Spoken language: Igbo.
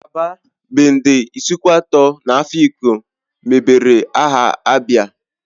Aba, Bende, Isuikwuato na Afikpo mebere aha ABIA